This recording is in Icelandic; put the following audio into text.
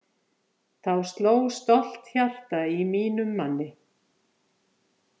Þá sló stolt hjarta í mínum manni!